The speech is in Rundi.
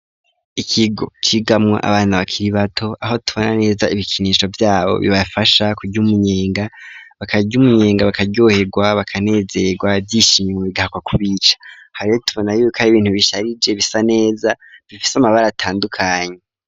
Ikigo cigamwo abana bakiri bato, aho tubona neza ibikinisho vyabo bibafasha kurya umunyenga bakarya umunyenga bakaryoherwa bakanezerwa, ivyishimo bigahakwa kubica. Aha rero tubona yuko ari ibintu bisharije bisa neza, bifise amabara atandukanye.